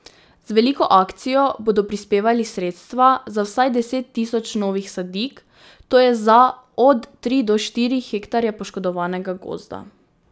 Z veliko akcijo bodo prispevali sredstva za vsaj deset tisoč novih sadik, to je za od tri do štiri hektarje poškodovanega gozda.